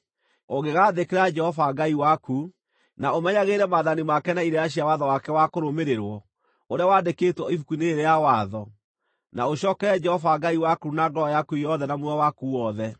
ũngĩgaathĩkĩra Jehova Ngai waku, na ũmenyagĩrĩre maathani make na irĩra cia watho wake wa kũrũmĩrĩrwo ũrĩa wandĩkĩtwo Ibuku-inĩ rĩrĩ rĩa Watho, na ũcookerere Jehova Ngai waku na ngoro yaku yothe na muoyo waku wothe.